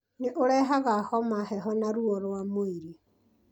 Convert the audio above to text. Nĩ ũrehaga homa, heho na ruo rwa mwĩrĩ,